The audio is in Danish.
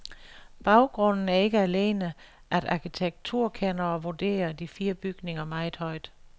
Baggrunden er ikke alene, at arkitekturkendere vurderer de fire bygninger meget højt.